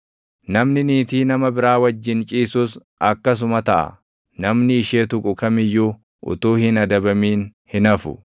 Namni niitii nama biraa wajjin ciisus akkasuma taʼa; namni ishee tuqu kam iyyuu utuu hin adabamin hin hafu.